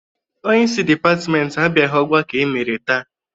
Onyeisi dịpatịmentị abịaghị ọgbakọ e mere taa.